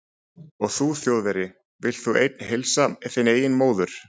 Og þú Þjóðverji, vilt þú einn heilsa þinni eigin móður